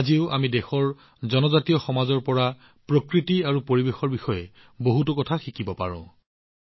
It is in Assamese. আজিও আমি দেশৰ জনজাতীয় সমাজৰ পৰা প্ৰকৃতি আৰু পৰিৱেশৰ বিষয়ে বহুতো কথা শিকিব পাৰো